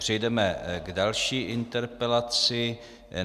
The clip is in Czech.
Přejdeme k další interpelaci.